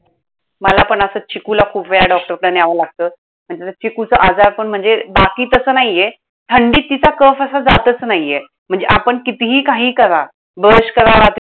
मला पण असंच चिकूला खूप वेळा डॉक्टरकडं न्यावं लागतं. आणि त्यात चिकूचा आजार पण म्हणजे बाकी तसं नाहीये. थंडीत तिचा cough असा जातंच नाहीये. म्हणजे आपण कितीही काही करा. brush करा.